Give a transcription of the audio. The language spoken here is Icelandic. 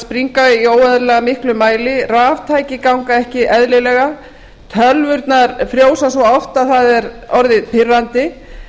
springa í óeðlilega miklum mæli raftæki ganga ekki eðlilega tölvurnar frjósa svo oft að það er orðið pirrandi